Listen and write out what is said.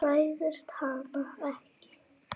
Hræðist hana ekki.